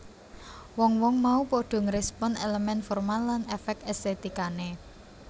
Wong wong mau padha ngrespon elemen formal lan efek estetikane